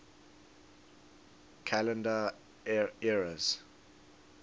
calendar eras